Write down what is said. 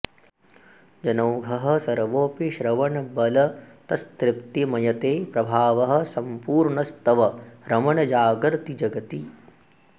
जनौघः सर्वोऽपि श्रवणबलतस्तृप्तिमयते प्रभावः सम्पूर्णस्तव रमण जागर्ति जगति